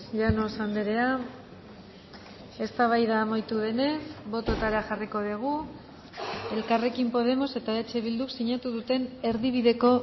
llanos andrea eztabaida amaitu denez bototara jarriko dugu elkarrekin podemos eta eh bilduk sinatu duten erdibideko